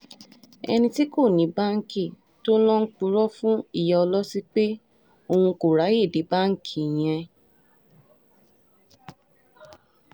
ẹni tí kò ní báńkì tó ń lọò ń purọ́ fún ìyá ọlọ́tí pé òun kò ráàyè dé báǹkì yẹn